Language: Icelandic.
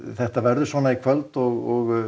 þetta verður svona í kvöld og